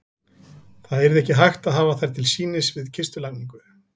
Það yrði ekki hægt að hafa þær til sýnis við kistulagningu.